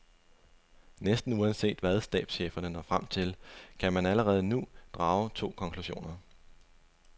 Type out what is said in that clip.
Næsten uanset hvad stabscheferne når frem til, kan man allerede nu drage to konklusioner.